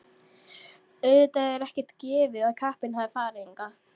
Auðvitað ekkert gefið að kappinn hafi farið hingað.